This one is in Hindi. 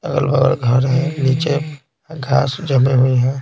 बगल घर में नीचे घास जमी हुई है।